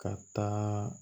Ka taa